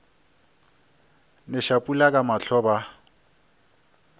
neša pula ka mahlo ba